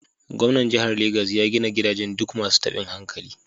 Gwamnan jihar Legas ya gina gidajen duk masu tabin hankali.